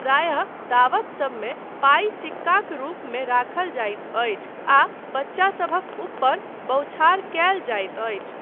प्रायः दावतसबमे पाइ सिक्काक रूपमे राखल जाइत अछि आ बच्चासभक ऊपर बौछार कयल जाइत अछि।